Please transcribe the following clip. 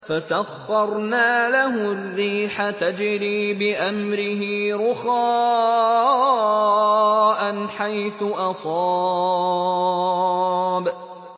فَسَخَّرْنَا لَهُ الرِّيحَ تَجْرِي بِأَمْرِهِ رُخَاءً حَيْثُ أَصَابَ